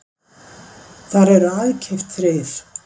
Þar eru aðkeypt þrif